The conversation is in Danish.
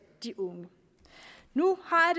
de unge nu har